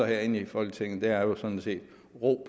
herinde i folketinget er jo sådan set